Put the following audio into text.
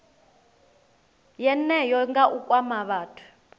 yeneyo nga u kwama vhathu